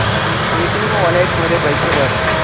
Paytm wallet मध्ये पैसे भर